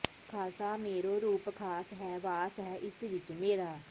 ਖਾਲਸਾ ਮੇਰੋ ਰੂਪ ਖਾਸ ਹੈ ਵਾਸ ਹੈ ਇਸ ਵਿੱਚ ਮੇਰਾ